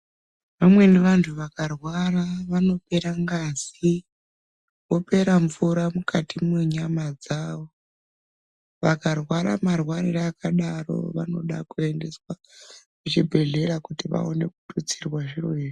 Vamweni vantu vakarwara vanopera ngazi, vopera mvura mukati mwenyama dzavo. Vakarwara marwarire akadaro vanoda kuendeswa kuchibhehlera kuti vaone kututsirwa zviro izvi.